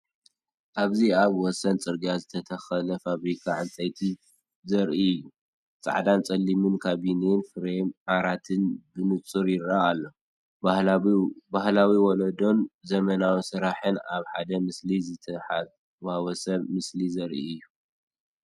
ኣብዚ ኣብ ወሰን ጽርግያ ዝተተኽለ ፋብሪካ ዕንፀይቲ ዘርኢ እዩ። ጻዕዳን ጸሊምን ካቢነን ፍሬም ዓራትን ብንጹር ይርአ ኣሎ። ባህላዊ ወለዶን ዘመናዊ ስራሕን ኣብ ሓደ ምስሊ ዝተሓዋወሰ ምስሊ ዘርኢ እዩ።